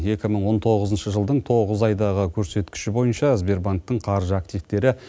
екі мың он тоғызыншы жылдың тоғыз айдағы көрсеткіші бойынша сбербанктің қаржы активтері